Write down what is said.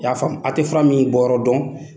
I ya faamu , a tɛ fura min suguya dɔn.